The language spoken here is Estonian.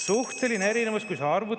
Suhteline erinevus, kui sa arvutad …